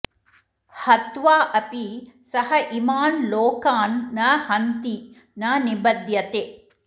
हत्वा अपि सः इमान् लोकान् न हन्ति न निबध्यते